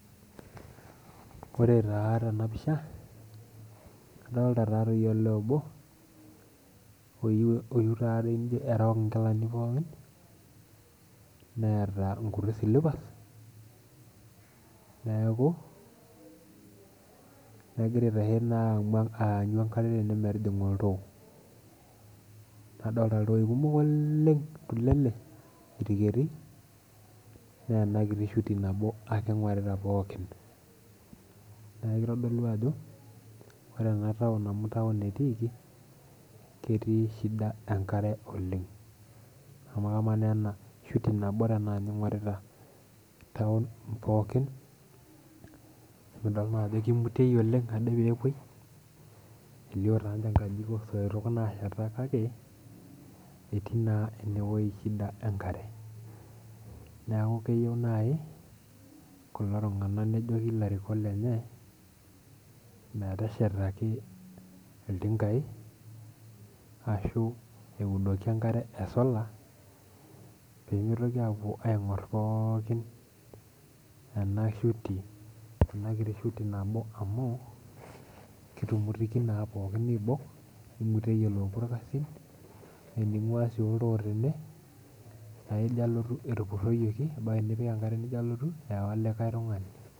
Ore taa tena pisha adolta taatoi olee obo oyieu taataoi nijo erook inkilani pookin neeta inkuti silipas neeku egira aitahe naa aanyu enkare tene metijinga oltoo nadolta iltoi kumok oleng tulele diriketi neena kiti shuti nabo ake ing'orita pookin naa kitodolu ajo ore ena taon amu taon etiiki ketii shida enkare oleng amu kamaa naa ena shuti nabo tenaa ninye ing'orita taon pookin emidoll naa ajo kimutiei oleng ade peepuoi elio taanje inkajijik osoitok naasheta kake etii naa enewoi shida enkare neku keyieu naaji kulo tung'anak nejoki ilarikok lenye meteshetaki iltinkai ashu eudoki enkare e solar pemitoki aapuo aing'orr pookin ena shuti ena kiti shuti nabo amuu kitumutiki naa pookin niibok nimuteyie loopuo irkasin naa tening'ua sii oltoo tene naa ijo alotu etupurroyieki ebaiki nipik enkare nijo alotu eewa likae tung'ani.